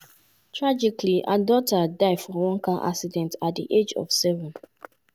tragically her daughter die for one car accident at di age of seven.